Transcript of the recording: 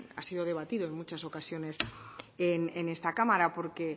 ha sido debatida en muchas ocasiones en esta cámara porque